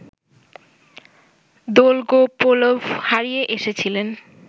Dolgopolov হারিয়ে এসেছিলেন